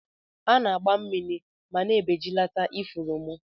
Ana agba mmiri ma na ebejilat ifuru mu.